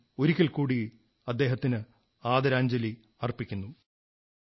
ഞാൻ ഒരിക്കൽകൂടി അദ്ദേഹത്തിന് ആദരാഞ്ജലി അർപ്പിക്കുന്നു